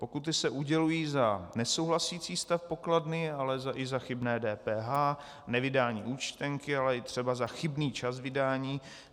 Pokuty se udělují za nesouhlasící stav pokladny, ale i za chybné DPH, nevydání účtenky, ale i třeba za chybný čas vydání.